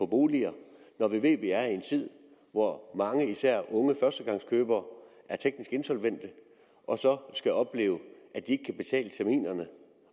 boliger når vi ved at vi er i en tid hvor mange især unge førstegangskøbere er teknisk insolvente og så skal opleve at de ikke kan betale terminerne